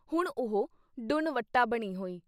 ਹੁਣ ਉਹ ਡੁੰਨ-ਵੱਟਾ ਬਣੀ ਹੋਈ।